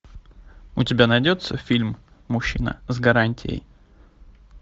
у тебя найдется фильм мужчина с гарантией